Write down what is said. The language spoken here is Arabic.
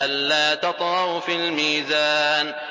أَلَّا تَطْغَوْا فِي الْمِيزَانِ